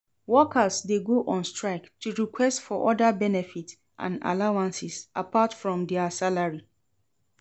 Workers de go on strike to request for other benefits and allowances apart from their salary